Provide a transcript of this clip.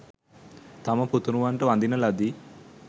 තම පුතනුවන්ට වඳින ලදී.